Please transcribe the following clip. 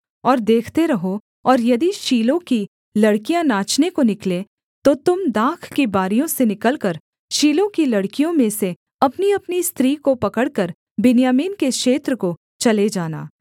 और देखते रहो और यदि शीलो की लड़कियाँ नाचने को निकलें तो तुम दाख की बारियों से निकलकर शीलो की लड़कियों में से अपनीअपनी स्त्री को पकड़कर बिन्यामीन के क्षेत्र को चले जाना